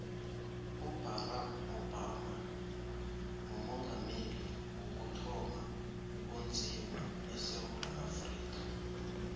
ubarack obama mumongameli wokuthoma onzima esewula afrika